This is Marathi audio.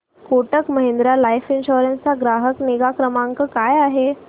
कोटक महिंद्रा लाइफ इन्शुरन्स चा ग्राहक निगा क्रमांक काय आहे